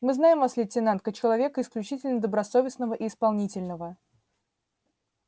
мы знаем вас лейтенант как человека исключительно добросовестного и исполнительного